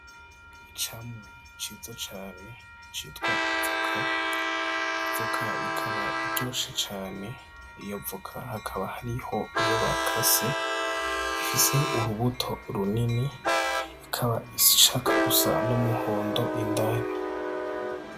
Icamwa ciza cane citwa ivoka, ivoka ikaba iryoshe cane iyo voka hakaba hariho iyo bakase ifise urubuto runini ikaba ishaka gusa n'umuhondo indani.